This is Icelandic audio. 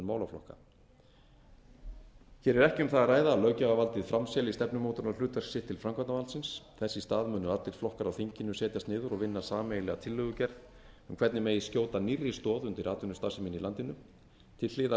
hér er ekki um það að ræða að löggjafarvaldið framselji stefnumótunarhlutverk sitt til framkvæmdarvaldsins þess í stað munu allir flokkar á þinginu setjast niður og vinna sameiginlega tillögugerð um hvernig megi skjóta nýrri stoð undir atvinnustarfsemina í landinu til hliðar við